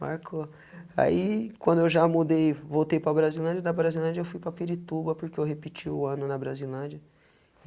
Marcou, aí quando eu já mudei, voltei para Brasilândia, da Brasilândia eu fui para Pirituba, porque eu repeti o ano na Brasilândia.